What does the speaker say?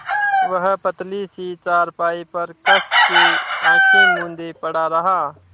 वह पतली सी चारपाई पर कस के आँखें मूँदे पड़ा रहा